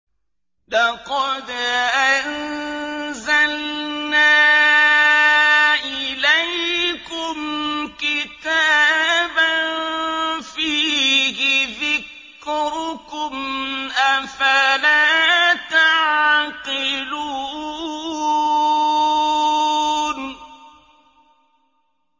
لَقَدْ أَنزَلْنَا إِلَيْكُمْ كِتَابًا فِيهِ ذِكْرُكُمْ ۖ أَفَلَا تَعْقِلُونَ